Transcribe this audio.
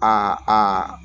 Aa aa